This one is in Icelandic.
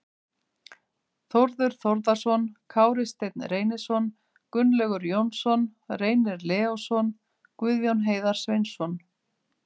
Þórður Þórðarson, Kári Steinn Reynisson, Gunnlaugur Jónsson, Reynir Leósson, Guðjón Heiðar Sveinsson